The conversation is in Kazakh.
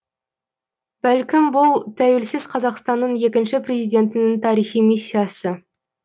бәлкім бұл тәуелсіз қазақстанның екінші президентінің тарихи миссиясы